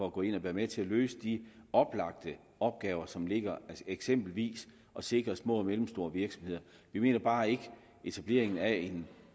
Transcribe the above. at gå ind og være med til at løse de oplagte opgaver som ligger eksempelvis at sikre små og mellemstore virksomheder vi mener bare ikke at etableringen af en